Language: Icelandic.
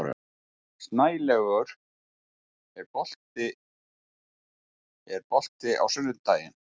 Snælaugur, er bolti á sunnudaginn?